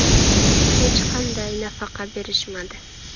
Hech qanday nafaqa berishmadi.